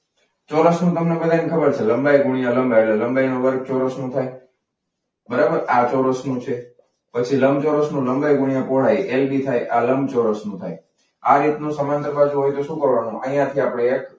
ચોરસનું તમે બધાને ખબર છે. લંબાઈ ગુણ્યા લંબાઈ એટલે લંબાઈનો વર્ગ ચોરસ થાય. બરાબર આ ચોરસનું છે. પછી લંબચોરસનું લંબાઈ ગુણ્યા પહોળાઈ એલ બી થાય. આ લંબચોરસ નું થાય. આ રીતનું સમાંતર બાજુ હોય તો શું કરવાનું અહીંયા થી આપણે એક.